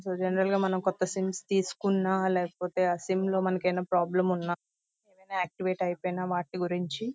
ఇక్కడ జనరల్ గా కొత్త సిమ్స్ తీసుకున్న లేకపోతే ఆ సిమ్ లో మనకు ఏమైన ప్రాబ్లెమ్ ఉన్నా డిఆక్టివేట్ ఐపోయిన వాటి గురించి --